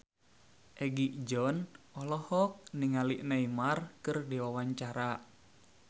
Egi John olohok ningali Neymar keur diwawancara